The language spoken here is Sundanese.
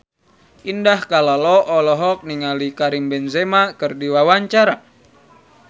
Indah Kalalo olohok ningali Karim Benzema keur diwawancara